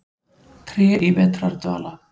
Tré í vetrardvala.